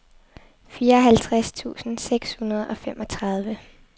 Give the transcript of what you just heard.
fireoghalvtreds tusind seks hundrede og femogtredive